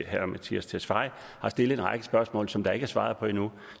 herre mattias tesfaye har stillet en række spørgsmål som der ikke er svaret på endnu